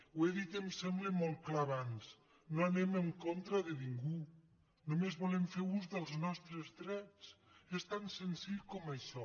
ho he dit em sembla molt clar abans no anem en contra de ningú només volem fer ús dels nostres drets és tan senzill com això